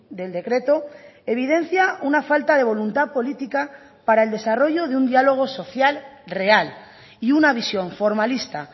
del decreto evidencia una falta de voluntad política para el desarrollo de un dialogo social real y una visión formalista